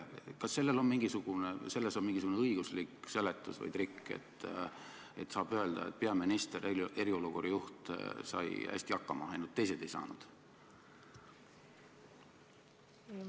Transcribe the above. Kas sellele on mingisugune õiguslik seletus või on siin mingisugune trikk, et saab öelda, et peaminister, eriolukorra juht, sai hästi hakkama, ainult teised ei saanud?